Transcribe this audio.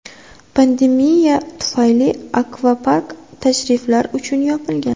Pandemiya tufayli akvapark tashriflar uchun yopilgan.